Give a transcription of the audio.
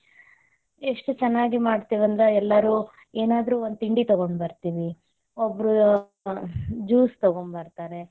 ಎಷ್ಟು ಚೆನ್ನಾಗಿ ಮಾಡ್ತೇವಿ ಅಂದ್ರ, ಎಲ್ಲಾರು ಏನಾದ್ರೂ ಒಂದ್ ತಿಂಡಿ ತಗೊಂಡ ಬರತೇವಿ, ಒಬ್ರು juice ತಗೊಂಡ್ ಬರ್ತಾರೆ.